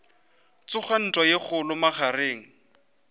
tsoga ntwa ye kgolo magareng